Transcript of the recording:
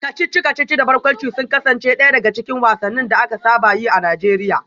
Kacici-kacici da barkwanci sun kasance daya daga cikin wasannin da aka saba yi a Najeriya